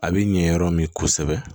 A bɛ ɲɛ yɔrɔ min kosɛbɛ